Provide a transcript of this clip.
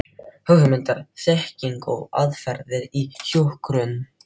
Hugmyndir, þekking og aðferðir í hjúkrun.